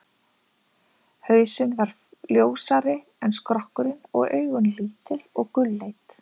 Hausinn var ljósari en skrokkurinn og augun lítil og gulleit.